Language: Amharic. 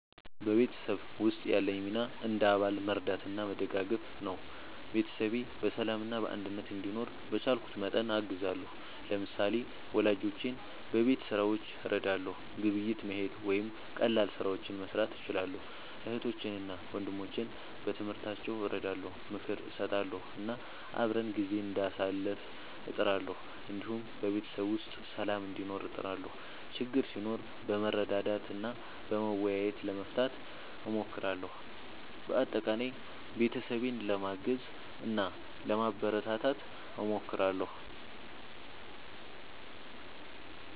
በቤተሰብ ውስጥ ያለኝ ሚና እንደ አባል መርዳትና መደጋገፍ ነው። ቤተሰቤ በሰላምና በአንድነት እንዲኖር በቻልኩት መጠን አግዛለሁ። ለምሳሌ፣ ወላጆቼን በቤት ሥራዎች እረዳለሁ፣ ግብይት መሄድ ወይም ቀላል ስራዎችን መስራት እችላለሁ። እህቶቼንና ወንድሞቼን በትምህርታቸው እረዳለሁ፣ ምክር እሰጣለሁ እና አብረን ጊዜ እንዳሳልፍ እጥራለሁ። እንዲሁም በቤተሰብ ውስጥ ሰላም እንዲኖር እጥራለሁ፣ ችግር ሲኖር በመረዳዳት እና በመወያየት ለመፍታት እሞክራለሁ። በአጠቃላይ ቤተሰቤን ለማገዝ እና ለማበረታታት እሞክራለሁ።